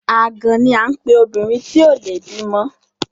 Àgàn ni à ń pe obìnrin tí ò le bímọ.